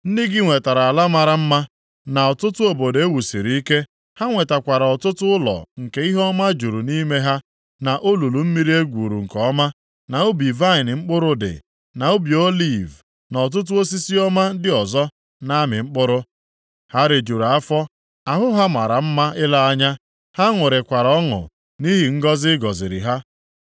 Ndị gị nwetara ala mara mma, na ọtụtụ obodo e wusiri ike; ha nwetakwara ọtụtụ ụlọ nke ihe ọma juru nʼime ha, na olulu mmiri e gwuru nke ọma, na ubi vaịnị mkpụrụ dị, na ubi oliv, na ọtụtụ osisi ọma ndị ọzọ na-amị mkpụrụ. Ha rijuru afọ, ahụ ha mara mma ile anya, ha ṅụrikwara ọṅụ nʼihi ngọzị ị gọziri ha.